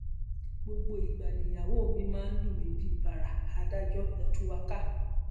gbogbo ìgbà nìyàwó mi máa ń lù mí bíi báárà adájọ ẹ tú wa ká